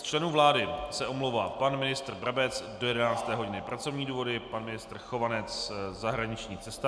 Z členů vlády se omlouvá pan ministr Brabec do 11 hodin - pracovní důvody, pan ministr Chovanec - zahraniční cesta.